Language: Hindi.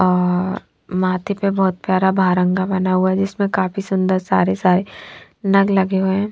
अः माथे पर बहोत प्यारा भारंगा बना हुआ है जिसमे काफी सुन्दर सारे सारे नग लगे हुए है।